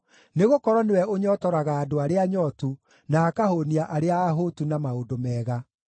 nĩgũkorwo nĩwe ũnyootoraga andũ arĩa anyootu, na akahũũnia arĩa ahũtu na maũndũ mega.